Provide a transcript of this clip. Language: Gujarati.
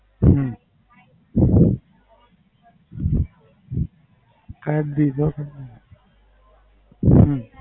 હમ આઠ દી જોહે હમ